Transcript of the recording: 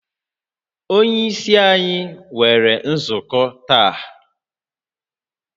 Onye isi anyi nwere nzukọ taa